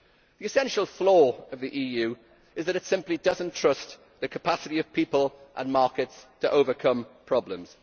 The essential flaw of the EU is that it simply does not trust the capacity of people and markets to overcome problems.